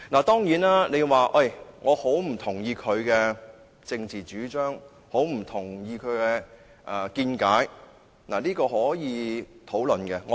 當然，你可以很不同意他的政治主張、見解，這是可以討論的。